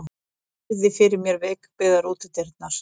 Virði fyrir mér veikbyggðar útidyrnar.